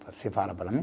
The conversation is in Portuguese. Você fala para mim?